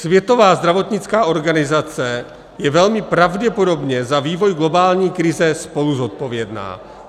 Světová zdravotnická organizace je velmi pravděpodobně za vývoj globální krize spoluzodpovědná.